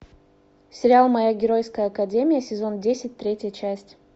сериал моя геройская академия сезон десять третья часть